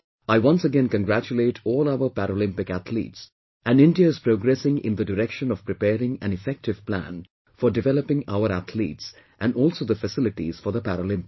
I once again congratulate all our Paralympic athletes and India is progressing in the direction of preparing an effective plan for developing our athletes and also the facilities for the Paralympics